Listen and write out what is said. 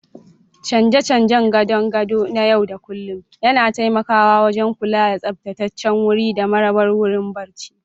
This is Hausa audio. Canje-canjen gadon gado na yau da kullun yana taimakawa wajen kula da tsaftataccen wuri da marabar wurin barci.